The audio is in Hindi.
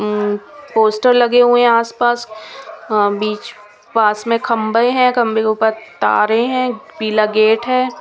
उम्म पोस्टर लगे हुए आस पास अ बीच पास में खंबे हैं खंबे के ऊपर तारे है पीला गेट है।